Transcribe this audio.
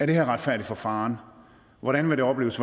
det her er retfærdigt for faren hvordan det vil opleves